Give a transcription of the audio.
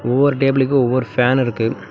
ஒவ்வொரு டேபிளுக்கு ஒவ்வொரு பேன் இருக்கு.